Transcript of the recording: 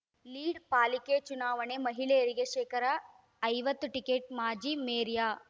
lead ಪಾಲಿಕೆ ಚುನಾವಣೆ ಮಹಿಳೆಯರಿಗೆ ಶೇಕಡಾ ಐವತ್ತು ಟಿಕೆಟ್‌ ಮಾಜಿ ಮೇಯರ್‌